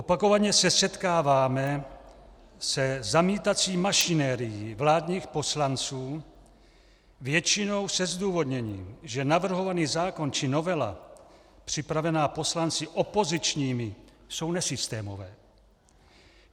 Opakovaně se setkáváme se zamítací mašinérií vládních poslanců většinou se zdůvodněním, že navrhovaný zákon či novela připravená poslanci opozičními jsou nesystémové.